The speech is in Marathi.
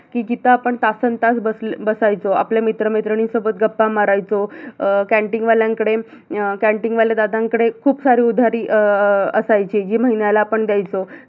कि जिथ आपण तासंता बसायचो, आपल्या मित्रमैत्रीणींसोबत गप्पा मारायचो अं canteen वाल्यांकडे canteen वाल्या दादांकडे खूप सारी उधारी अं अं असायची जी महिन्याला आपण द्यायचो